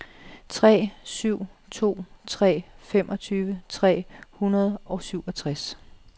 tre syv to tre femogtyve tre hundrede og syvogtres